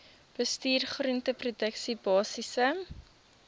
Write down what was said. bestuur groenteproduksie basiese